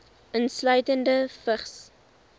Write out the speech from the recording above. insluitende vigs